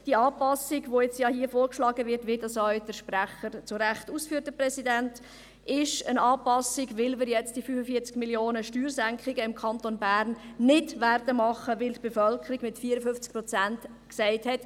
Die Anpassung, die hier vorgeschlagen wird, wie das ja auch der Kommissionspräsident zu Recht ausführt, ist eine Anpassung, weil wir jetzt die 45 Mio. Franken an Steuersenkungen im Kanton Bern nicht machen werden, weil die Bevölkerung mit 54 Prozent «Niet» dazu gesagt hat.